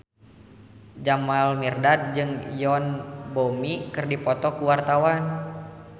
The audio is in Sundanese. Jamal Mirdad jeung Yoon Bomi keur dipoto ku wartawan